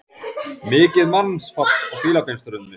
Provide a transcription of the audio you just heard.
Mikið mannfall á Fílabeinsströndinni